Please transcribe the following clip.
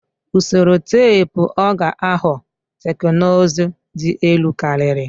Usoro teepu ọ ga-aghọ teknụzụ dị elu karịa?